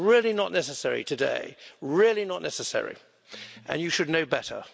It's really not necessary today, really not necessary and you should know better.